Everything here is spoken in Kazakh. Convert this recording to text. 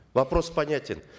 вопрос понятен